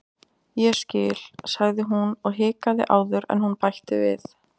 Ég skil- sagði hún og hikaði áður en hún bætti við:-